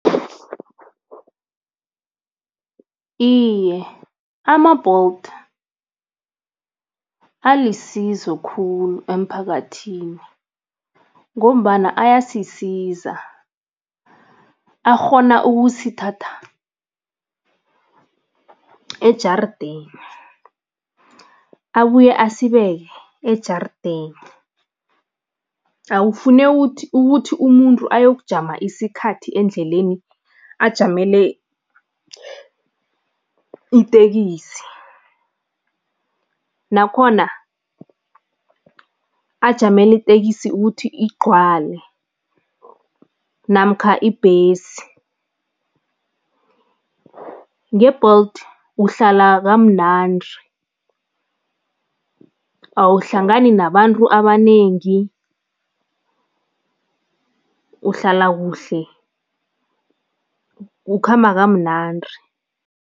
Iye, ama-Bolt alisizo khulu emphakathini ngombana ayasisiza. Akghona ukusithatha ejarideni, abuye asibeke ejarideni. Akufuneki ukuthi umuntu ayokujama isikhathi endleleni, ajamele itekisi, nakhona ajamele itekisi ukuthi igcwale namkha ibhesi. Nge-Bolt uhlala kamnandi, awuhlangani nabantu abanengi, uhlala kuhle, ukhamba kamnandi.